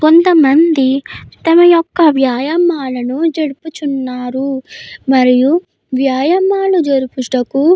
కొంతమంది తమ యొక్క వ్యాయామాలు జరుపుచున్నారు. మరియు వ్యాయామాలు జరుపుటకు --